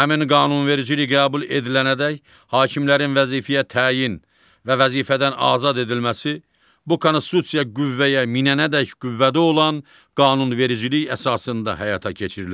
Həmin qanunvericilik qəbul edilənədək hakimlərin vəzifəyə təyin və vəzifədən azad edilməsi bu Konstitusiya qüvvəyə minənədək qüvvədə olan qanunvericilik əsasında həyata keçirilir.